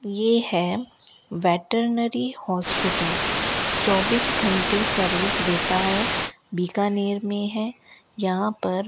ये है veterinary hospital चौबीस घंटे सर्विस देता है बीकानेर में है यहां पर --